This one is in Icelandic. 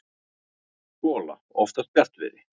gola oftast bjartviðri.